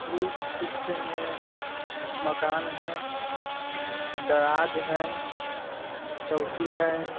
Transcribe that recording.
इस चित्र में मकान हैं दराज हैं चौकी हैं।